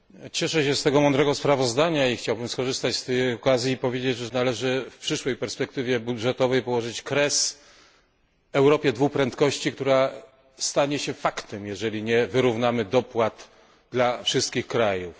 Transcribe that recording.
Cieszę się z tego mądrego sprawozdania i chciałbym skorzystać z okazji i powiedzieć, że należy w przyszłej perspektywie budżetowej położyć kres Europie dwu prędkości, która stanie się faktem, jeżeli nie wyrównamy dopłat dla wszystkich krajów.